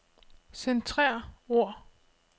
Centrer ord.